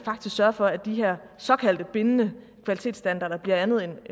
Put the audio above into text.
sørge for at de her såkaldte bindende kvalitetsstandarder bliver andet end